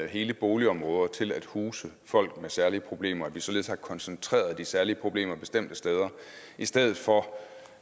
hele boligområder til at huse folk med særlige problemer og således har koncentreret de særlige problemer bestemte steder i stedet for